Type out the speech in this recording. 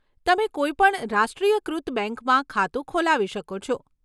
તમે કોઈ પણ રાષ્ટ્રીયકૃત બેંકમાં ખાતું ખોલાવી શકો છે.